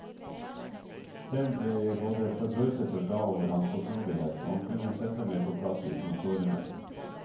Selv ble jeg både forbauset og glad over hans fortrolighet, og han kunne sette meg på plass uten å såre meg.